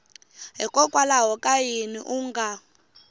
hikokwalaho ka yini u nga